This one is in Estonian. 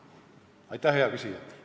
Aitäh, hea küsija!